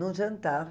Em um jantar.